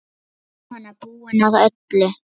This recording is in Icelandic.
Jóhanna: Búinn að öllu?